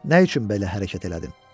Nə üçün belə hərəkət elədin?